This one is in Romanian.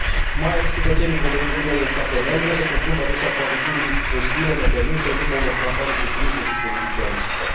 Mai ales cetățenii proveniți din noile state membre se confruntă adesea cu atitudini ostile, nepermise, în urma unor campanii populiste și politicianiste.